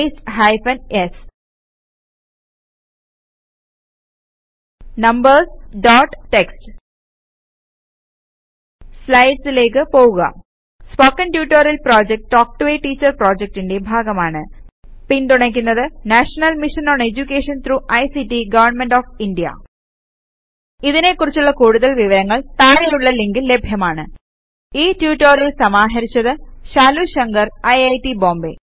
paste hyphen s numbers dot TXT സ്ലൈഡിലേക്ക് പോകുക spoken tutorial project talk to a teacher pപ്രോജക്റ്റിന്റെ ഭാഗമാണ് പിന്തുണക്കുന്നത് national mission on education through ICT government of India ഇതിനെ കുറിച്ചുള്ള കൂടുതൽ വിവരങ്ങൾ താഴെയുള്ള ലിങ്കിൽ ലഭ്യമാണ് ഈ റ്റുറ്റൊരിയൽ സമാഹരിച്ചത് ശാലു ശങ്കർIIT ബോംബേ